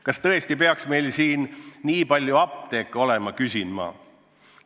Kas tõesti peaks meil nii palju apteeke olema, küsin ma.